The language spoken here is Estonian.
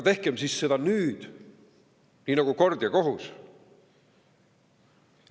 Tehkem siis seda nüüd nii nagu kord ja kohus.